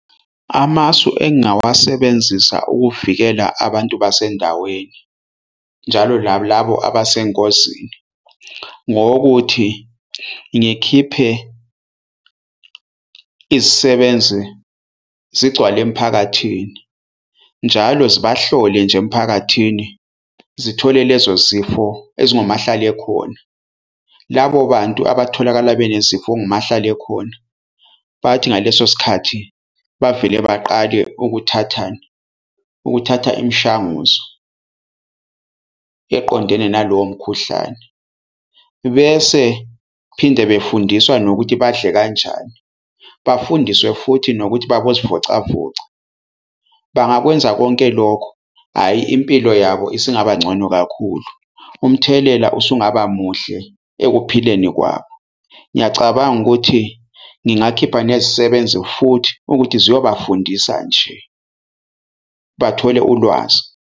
Amasu engingawasebenzisa ukuvikela abantu basendaweni njalo labo labo abesengozini, ngowokuthi ngikhiphe izisebenzi zigcwale emphakathini njalo zibahlole nje emphakathini zithole lezo zifo ezingomahlalekhona. Labo bantu abatholakala benesifo ongumahlale khona. Bathi ngaleso sikhathi bavele baqale ukuthatha, ukuthatha imishanguzo eqondene nalowo mkhuhlane bese phinde befundiswa nokuthi badle kanjani. Bafundiswe futhi nokuthi babozivocavoca bangakwenza konke lokho, hhayi impilo yabo isingaba ngcono kakhulu. Umthelela usungaba muhle ekuphileni kwabo. Ngiyacabanga ukuthi ngingakhipha nezisebenzi futhi ukuthi ziyobafundisa nje, bathole ulwazi.